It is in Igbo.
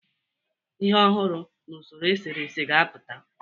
Ihe ọhụrụ n'usoro eserese ga-apụta.